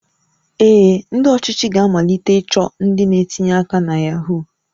Ee, ndị ọchịchị ga-amalite ịchọ ndị na-etinye aka na Yahoo